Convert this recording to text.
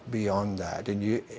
við sjáum í